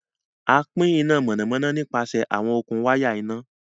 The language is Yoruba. Àn pin iná mọ́nàmọ́nà nípasẹ̀ awọn okun wàya iná.